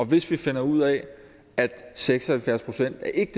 hvis vi finder ud af at seks og halvfjerds procent ikke